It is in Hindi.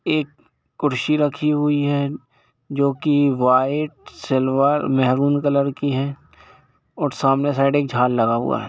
एक कुर्सी रखी हुई है जो की वाइट सिल्वर मेहरून कलर कि है और सामने साइड एक झार लगा हुआ है।